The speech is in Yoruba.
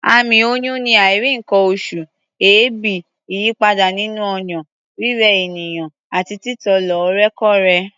Àmì oyún ni àìrí nǹkan-oṣù, èébì, ìyípadà nínú ọyàn, rírẹ ènìyàn àti títọ̀ lóòrèkóòrè.